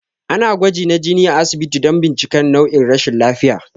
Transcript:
Ana gwaji na jini a asibiti don bincikar nau'in rashin lafiya